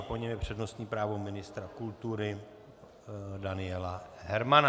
A po něm je přednostní právo ministra kultury Daniela Hermana.